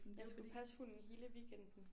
Jeg skulle passe hunden hele weekenden